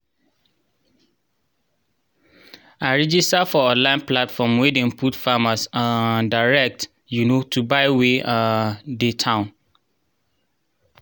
i register for online platform wey dey put farmers um direct um to buyers wey um dey town